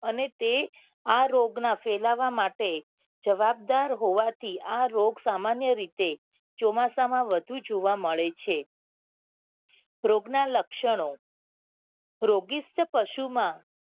અને તે આ રોગ ના ફેલાવા માટે જવાબદાર હોવા થી આ રોગ સામાન્ય રીતે ચોમાસા માં વધુ જોવા મળે છે રોગ ના લક્ષણો રોગીષ્ઠ પશુ માં